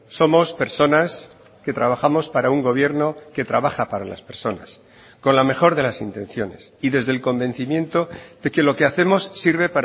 somos personas que trabajamos para un gobierno que trabaja para las personas con la mejor de las intenciones y desde el convencimiento de que lo que hacemos sirve